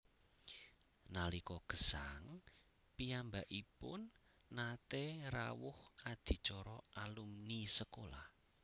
Nalika gesang piyambakipun naté rawuh adicara alumni sekolah